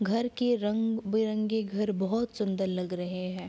घर के रंग-बिरंगे घर बहोत सुंदर लग रहे हैं।